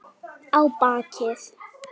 Á bakið.